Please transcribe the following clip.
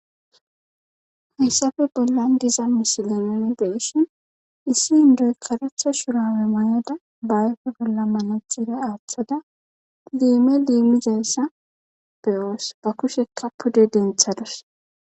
Hayssafe bollan diza misilenonzeeshion issi hindoy karetha shurawe mayada baayfe golla malajjira aaththada liime liimizayssa beyoos ba kushekka pude denthadus.